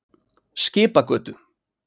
Skipagötu